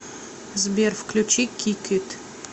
сбер включи кик ит